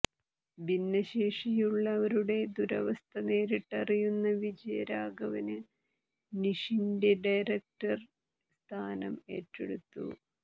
ഭിന്നശേഷിയുള്ളവരുടെ ദുരവസ്ഥ നേരിട്ടറിയുന്ന വിജയരാഘവന് നിഷിന്റെ ഡയറക്ടര് സ്ഥാനം ഏറ്റെടുത്തു